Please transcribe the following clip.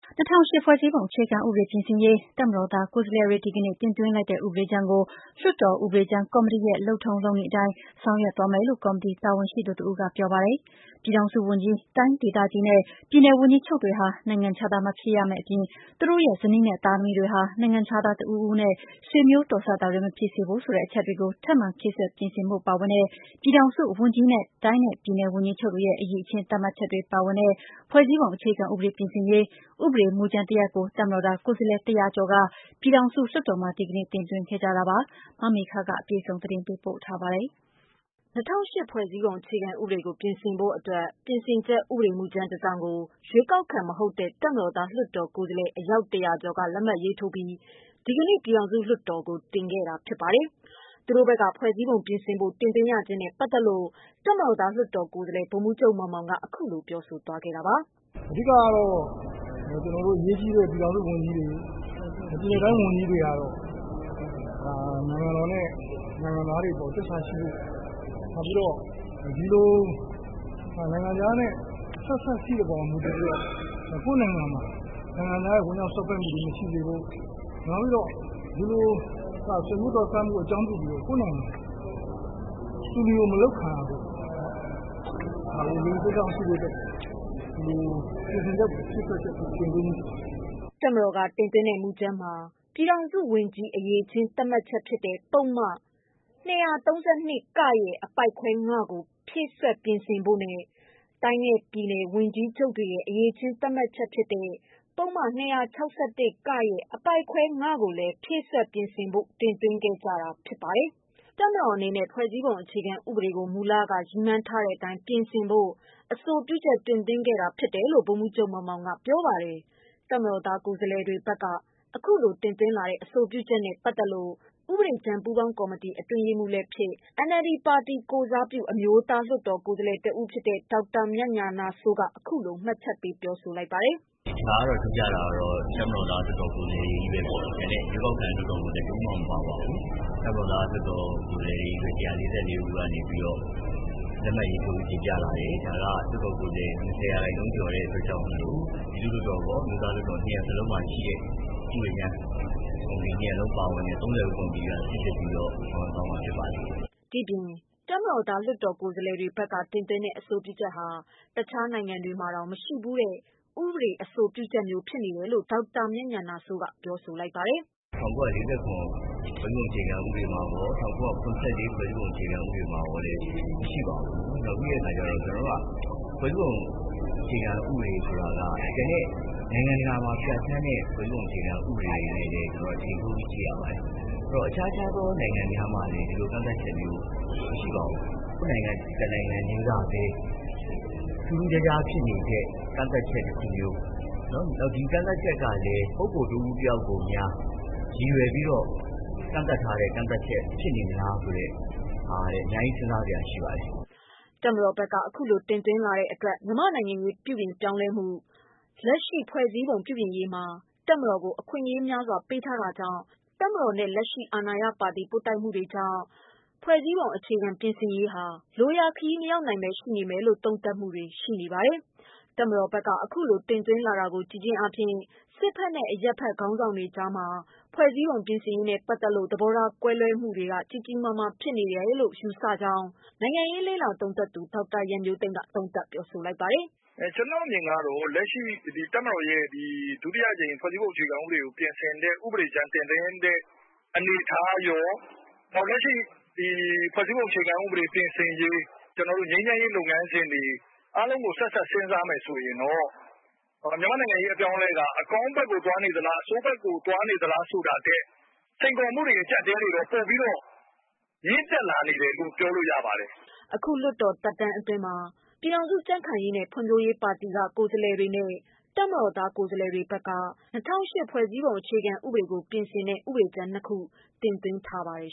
၂၀၀၈ ဖွဲ့စည်းပုံအခြေခံဥပဒေပြင်ဆင်ရေး တပ်မတော်သားကိုယ်စားလှယ်တွေ ဒီကနေ့ တင်သွင်းလိုက်တဲ့ ဥပဒေကြမ်းကို လွှတ်တော်ဥပဒေကြမ်းကော်မီတီရဲ့ လုပ်ထုံးလုပ်နည်းအတိုင်း ဆောင်ရွက်သွားမယ်လို့ ကော်မတီတာဝန်ရှိသူတဦးက ပြောပါတယ်။ ပြည်ထောင်စုဝန်ကြီး၊ တိုင်းဒေသကြီးနဲ့ ပြည်နယ်ဝန်ကြီးချုပ်တွေဟာ နိုင်ငံခြားသား မဖြစ်ရမယ့်အပြင် သူတို့ရဲ့ ဇနီးနဲ့ သားသမီးတွေဟာ နိုင်ငံခြားသား တစ်ဦးဦးနဲ့ ဆွေမျိုးတော်စပ်တာတွေ မဖြစ်စေဖို့ဆို တဲ့အချက်တွေကို ထပ်မံဖြည့်စွက် ပြင်ဆင်ဖို့ပါဝင်တဲ့ ပြည်ထောင်စုဝန်ကြီးနဲ့ တိုင်းနဲ့ပြည်နယ် ဝန်ကြီးချုပ်တွေရဲ့ အရည်အချင်းသတ်မှတ်ချက်တွေ ပါဝင်တဲ့ ဖွဲ့စည်းပုံ အခြေခံဥပဒေ ပြင်ဆင်ရေး ဥပဒေမူကြမ်း တရပ်ကို တပ်မတော်သား ကိုယ်စားလှယ် ၁၀၀ ကျော်က ပြည်ထောင်စုလွှတ်တော်မှာ ဒီကနေ့ တင်သွင်းခဲ့ကြတာပါ။ ဒီသတင်းကို ဗွီအိုအေ သတင်းထောက် မမေခကပေးပို့ထား ပါတယ်။ ၂၀၀၈ ဖွဲ့စည်းပုံအခြေခံဥပဒေကို ပြင်ဆင်ဖို့ အတွက် ပြင်ဆင်ချက် ဥပဒေမူကြမ်း တစောင်ကို ရွေးကောက်ခံမဟုတ်တဲ့တပ်မတော်သားလွှတ်တော် ကိုယ်စားလှယ် အယောက် ၁၀၀ကျော်က လက်မှတ်ရေးထိုးပြီး ဒီကနေ့ ပြည်ထောင်စုလွှတ်တော်ကိုတင်ခဲ့တာဖြစ်ပါတယ်။ သူတို့ဘက်က ဖွဲ့စည်းပုံပြင်ဆင်ဖို့ တင်သွင်းရခြင်းနဲ့ ပတ်သက်လို့ တပ်မတော်သား လွှတ်တော်ကိုယ်စားလှယ် ဗိုလ်မှူးချုပ်မောင်မောင်က အခုလို ပြောပါတယ်။ “အဓိကကတော့ အရေးကြီးတဲ့ ပြည်ထောင်စုဝန်ကြီးတွေ၊ ပြည်နယ်နဲ့တိုင်းဝန်ကြီးတွေကတော့ နိုင်ငံတော်နဲ့ နိုင်ငံသားပေါ်သစ္စာရှိဖို့၊ နောက်ဒီလို နိုင်ငံခြားနဲ့ ဆက်စပ်ရှိတဲ့အပေါ် မူတည်ပြီးတော့ ကိုယ့်နိုင်ငံမှာ နိုင်ငံခြားသားတွေ ဝင်ရောက် စွပ်ဖက်မှုမရှိစေဖို့၊ ဆွေးမျိုးတော်စပ်တာ အကြောင်းပြုပြီး သူလျိူမလုပ်ခံရဖို့၊ နိုင်ငံသားတွေ ယုံကြည်စိတ်ချဖို့ ပြင်ဆင်ချက်တင်တာဖြစ်ပါတယ်။” တပ်မတော်က တင်ထားတဲ့ မူကြမ်းမှာ ပြည်ထောင်စုဝန်ကြီး အရည်အချင်း သတ်မှတ်ချက်ဖြစ်တဲ့ ပုဒ်မ ၂၃၂ (က) ရဲ့ အပိုဒ်ခွဲ ၅ ကို ဖြည့်စွက် ပြင်ဆင်ဖို့နဲ့ တိုင်းနဲ့ပြည်နယ် ဝန်ကြီးချုပ်တွေရဲ့ အရည်အချင်း သတ်မှတ်ချက်ဖြစ်တဲ့ ပုဒ်မ ၂၆၁ (က) ရဲ့ အပိုဒ်ခွဲ ၅ ကိုလည်း ဖြည့်စွက် ပြင်ဆင်ဖို့ တင်သွင်းခဲ့ကြတာပါ။ တပ်မတော်အနေနဲ့ ဖွဲ့စည်းပုံ အခြေခံဥပဒေကို မူလက ရည်မှန်းထားတဲ့အတိုင်း ပြင်ဆင်ဖို့ အဆိုပြုတင်သွင်းခဲ့တာလို့ ဗိုလ်မှူးချုပ်မောင်မောင်က ပြောပါတယ်။ တပ်မတော်သားကိုယ်စားလှယ်တွေဘက်က အခုတင်သွင်းလာတဲ့ အဆိုပြုချက်နဲ့ပတ်သက်လို့ ဥပဒေကြမ်းပူးပေါင်းကော်မတီ အတွင်းရေးမှူးလည်းဖြစ်၊ NLD ပါတီကိုယ်စားပြု အမျိုးသားလွှတ်တော် ကိုယ်စားလှယ် တဦးလည်းဖြစ်တဲ့ ဒေါက်တာမြတ်ညာဏစိုး က အခုလို မှတ်ချက်ပေးပါတယ်။ “ ဒီတခါကတော့ထူးခြားတာကတော့ တပ်မတော်သားလွှတ်တော်ကိုယ်စားလှယ် တွေချည်းဘဲ။ ရွေးကောက်ခံ လွှတ်တော်ကိုယ်စားလှယ် တယောက်မ ှမပါပါဘူး။ တပ်မတော်သား လွှတ်တော်ကိုယ်စားလှယ်တွေကနေပြီးတော့ လက်မှတ်ရေးထိုးတင်ပြလာတယ်။ ဒါက လွှတ်တော်ကိုယ်စားလှယ် ၂၀ရာခိုင်နှုန်းကျော်လို့ နယကပြောသလို ပြည်သူ့လွှတ်တော်ရော၊ အမျိုးသားလွှတ်တော်တွေကရော ၂ ရပ်စလုံးမှာရှိတဲ့ ဥပဒေကြမ်းကော်မတီ၂ရပ်ပါတဲ့ သုံးသပ် ကော်မတီကစိစစ်ပြီးဆောင်ရွက်သွားမှာ ဖြစ်ပါတယ်။” တပ်မတော်သားကိုယ်စားလှယ်တွေဘက်က တင်သွင်းတဲ့ အဆိုပြုချက်ဟာ တခြားနိုင်ငံတွေမှာတောင် မရှိဘူးတဲ့ အဆိုပြုချက်မျိုး ဖြစ်နေတယ်လို့လည်း ဒေါက်တာ မြတ်ညာဏစိုးက ပြောပါတယ်။ “၁၉၄၇ အခြေခံဥပဒေမှာရော၊ ၁၉၇၄ အခြေခံဥပဒေမှာရော မရှိပါပြီး ။ ပြီးတော့ ကျနော်တို့က ဖွဲ့စည်းပုံ ဆိုတာက ကျန်တဲ့ နိုင်ငံတကာမှာ ပြဌာန်းတဲ့ အခြေခံဥပဒေတွေနဲ့လည်း ချိန်ပြီး ကြည့်ရပါတယ်။ ဆိုတော့ အခြားသော နိုင်ငံတွေမှာလည်း ဒီလိုကန့်သတ်ချက်မျိုးမရှိပါဘူး။ ကျနော်တို့ နိုင်ငံတနိုင်ငံတည်းကပဲ ထူးထူးခြားခြားဖြစ်နေတဲ့ ကန့်သတ်ချက်မျိုး နောက် ဒီကန့်သတ်ချက်ကလည်း ပုဂ္ဂိုလ် တဦးတယောက်ကို ရည်ရွယ်ပြီးတော့ ကန့်သတ်ထားတဲ့ ကန့်သက်ချက်မျိုးဖြစ်နေမလားဆိုတာ အများကြီး စဉ်းစားစရာရှိပါတယ်။” တပ်မတော်ဘက်က အခုလိုတင်သွင်းလာတဲ့ အတွက် မြန်မာ့နိုင်ငံရေးပြောင်းလဲမှု၊ လက်ရှိ ဖွဲ့စည်းပုံပြင်ရေးမှာ တပ်မတော်ကို အခွင့်အရေးများစွာ ပေးထားတာကြောင့် တပ်မတော်နဲ့ လက်ရှိ အာဏာရပါတီ ပွတ်တိုက်မှုတွေကြောင့် ဖွဲ့စည်းပုံပြင်ရေးဟာ လိုရာခရီးမရောက်နိုင်ဘဲ ရှိနေမယ်လို့ သုံးသပ်မှုတွေ ထွက်ပေါ်လာပါတယ်။ တပ်မတော်ဘကက် အခုလို တင်သွင်းလာတာကို ကြည့်ခြင်းအားဖြင့် စစ်ဘက်နဲ့ အရပ်ဘက် ခေါင်းဆောင်တွေကြားမှာ ဖွဲ့စည်းပုံ ပြင်ဆင်ရေးနဲ့ပတ်သက်လို့ သဘောထား ကွဲပြားမှုတွေ ကြီးကြီးမားမား ဖြစ်နေတယ်လို့ ယူဆနိုင်ကြောင်း နိုင်ငံရေးလေ့လာသုံးသပ်သူ ဒေါက်တာရန်မျိုးသိမ်းက ပြောပါတယ်။ “ကျနော့်အမြင်ကတော့ လက်ရှိ တပ်မတော်ရဲ့ ဒုတိယအကြိမ် ဖွဲ့စည်းပုံအခြေခံဥပဒေ ပြင်ဆင်တဲ့ ဥပဒေကြမ်း တင်သွင်းတဲ့ အနေအထားရော လက်ရှိ ဖွဲ့စည်းပုံအခြေခံဥပဒေ ပြင်ဆင်ရေး ကျနော်တို့ ငြိမ်းချမ်းရေးလုပ်ငန်းစဉ်တွေ အားလုံးကို ဆက်စပ် စဉ်းစားမယ်ဆိုရင်တော့ နိုင်ငံရေးအပြောင်းအလဲက အကောင်းဘက်ကို သွားနေသလား ၊ အဆိုးဘက်ကို သွားနေသလား ဆိုတာထက် စိန်ခေါ်မှုတွေ အကျပ်အတည်းတွေကတော့ ပိုပြီးတော့ မြင့်တက်လာနေတယ်လို့ ပြောလို့ရပါတယ်။” အခု လွှတ်တော်သက်တမ်းအတွင်း ပြည်ခိုင် ဖြိုးပါတီက ကိုယ်စားလှယ်တွေနဲ့ တပ်မတော်သား ကိုယ်စားလှယ်တွေဘက်က ၂၀၀၈ အခြေခံဥပဒေကို ပြင်ဆင်တဲ့ ဥပဒေကြမ်းနှစ်ခု တင်သွင်းခဲ့ပါတယ်